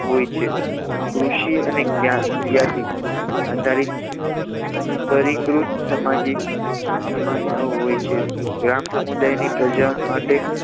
હોય છે કૃષિ અને જ્ઞાતિ આધારિત પરિકૃત સામાજિક અસમાનતાઓ હોય છે ગ્રામ સમુદાયની પ્રજા માટે